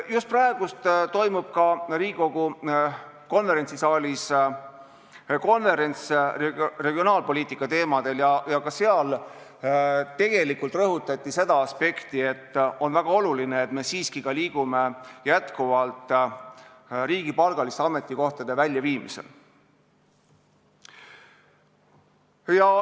Just praegu toimub Riigikogu konverentsisaalis konverents regionaalpoliitika teemadel ja ka seal rõhutati seda aspekti, et on väga oluline, et me liiguksime jätkuvalt riigipalgaliste ametikohtade väljaviimise suunas.